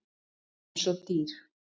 Eins og dýr.